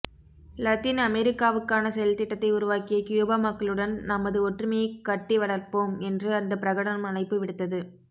Latin அமெரிக்காவுக்கான செயல்திட்டத்தை உருவாக்கிய கியூபா மக்களுடன் நமது ஒற்றுமையைக் கட்டி வளர்ப்போம் என்று அந்த பிரகடனம் அழைப்பு விடுத்தது